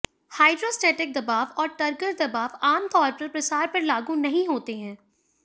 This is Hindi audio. हाइड्रोस्टैटिक दबाव और टर्गर दबाव आमतौर पर प्रसार पर लागू नहीं होते हैं